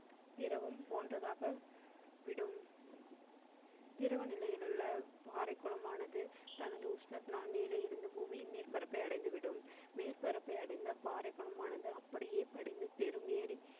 திரவம் போன்றதாக விடும். திரவ நிலைகள் உள்ள பாறை குளமானது தனது உஷ்ணத்தினால் மேலே இருந்து பூமியின் மேற்பரப்பை அடைந்து விடும் மேற்பரப்பை அடைந்த பாறை குளமானது அப்படியே படிந்து பெரும் ஏரி